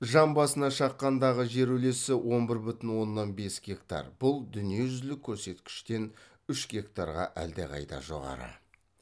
жан басына шаққандағы жер үлесі он бір бүтін оннан бес гектар бұл дүниежүзілік көрсеткіштен үш гектарға әлдеқайда жоғары